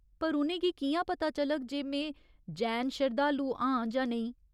पर उ'नें गी कि'यां पता चलग जे में जैन शरधालू आं जां नेईं?